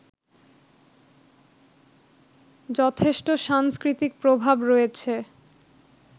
যথেষ্ট সাংস্কৃতিক প্রভাব রয়েছে